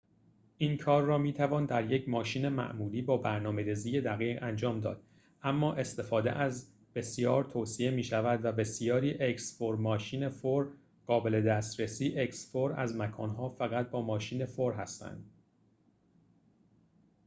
این کار را می توان در یک ماشین معمولی با برنامه ریزی دقیق انجام داد اما استفاده از ماشین 4x4 بسیار توصیه می شود و بسیاری از مکان‌ها فقط با ماشین 4x4 قابل دسترسی هستند